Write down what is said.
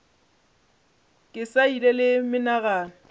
ke sa ile le menagano